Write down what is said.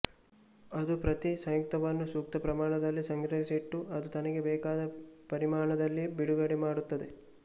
ಅದು ಪ್ರತಿ ಸಂಯುಕ್ತವನ್ನು ಸೂಕ್ತ ಪ್ರಮಾಣದಲ್ಲಿ ಸಂಗ್ರಹಿಸಿಟ್ಟು ಅದು ತನಗೆ ಬೇಕಾದ ಪರಿಮಾಣದಲ್ಲಿ ಬಿಡುಗಡೆ ಮಾಡುತ್ತದೆ